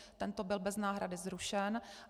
Tento byl bez náhrady zrušen.